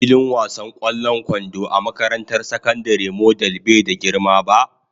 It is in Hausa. Filin wasan ƙwallon kwando a makarantar sakandare model bai da girma ba.